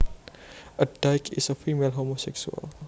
A dyke is a female homosexual